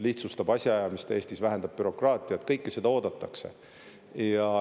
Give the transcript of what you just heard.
lihtsustab asjaajamist Eestis, vähendab bürokraatiat – kõike seda oodatakse.